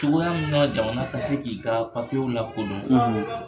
Cogoya min na jamana ka se k'i ka papiyew lakodɔn,